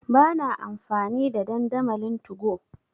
Ba na amfani da dandamalin 2go.